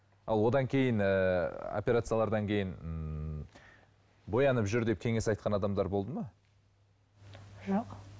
ал одан кейін ыыы операциялардан кейін ммм боянып жүр деп кеңес айтқан адамдар болды ма жоқ